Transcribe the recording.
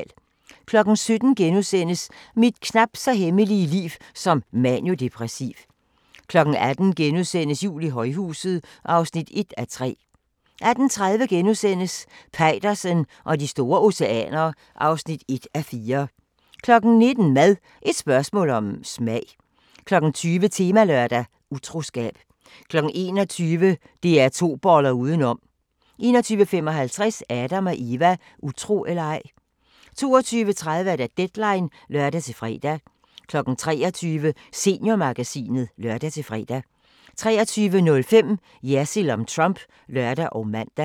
17:00: Mit knapt så hemmelige liv som maniodepressiv * 18:00: Jul i højhuset (1:3)* 18:30: Peitersen og de store oceaner (1:4)* 19:00: Mad – et spørgsmål om smag 20:00: Temalørdag: Utroskab 21:00: DR2 boller udenom 21:55: Adam & Eva: Utro eller ej? 22:30: Deadline (lør-fre) 23:00: Seniormagasinet (lør-fre) 23:05: Jersild om Trump (lør og man)